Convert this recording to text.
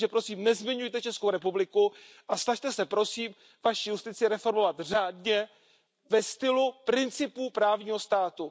Takže prosím nezmiňujte Českou republiku a snažte se prosím vaši justici reformovat řádně ve stylu principů právního státu.